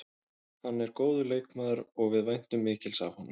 Hann er góður leikmaður og við væntum mikils af honum.